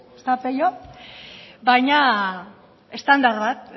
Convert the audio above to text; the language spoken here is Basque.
ezta pello baina estandar bat